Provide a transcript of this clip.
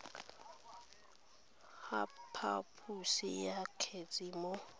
ga phaposo ya kgetse mo